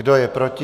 Kdo je proti?